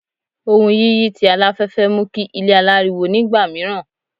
Ohùn yiyi ti alafẹfẹ mu ki ile alariwo nigba miiran